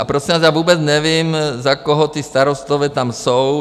- A prosím vás, já vůbec nevím, za koho ti Starostové tam jsou.